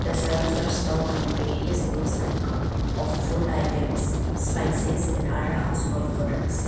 The shelves are stuck with various goods of food items spices and other household products.